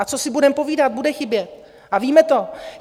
A co si budeme povídat - bude chybět a víme to.